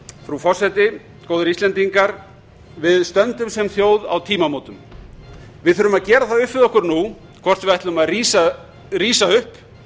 frú forseti góðir íslendingar við stöndum sem þjóð á tímamótum við þurfum að gera það upp við okkur nú hvort við ætlum að rísa upp